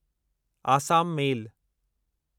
Assam मेल